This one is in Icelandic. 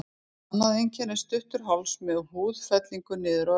Annað einkenni er stuttur háls með húðfellingu niður á öxl.